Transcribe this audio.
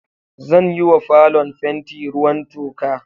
Zan yi wa falon fenti ruwan toka